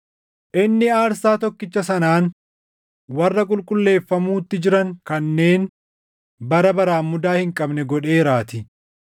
inni aarsaa tokkicha sanaan warra qulqulleeffamuutti jiran kanneen bara baraan mudaa hin qabne godheeraatii.